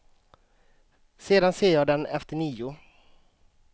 Sedan ser jag den efter nio.